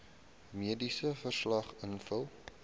mediese verslag invul